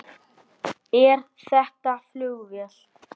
Er þetta flugvél?